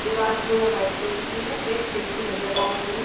दीवार जो है व्हाइट कलर की है एक खिड़की नजर आ रही है।